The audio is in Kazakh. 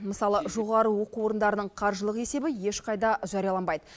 мысалы жоғары оқу орындарының қаржылық есебі ешқайда жарияланбайды